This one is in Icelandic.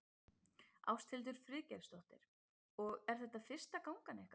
Ásthildur Friðgeirsdóttir: Og er þetta fyrsta gangan ykkar?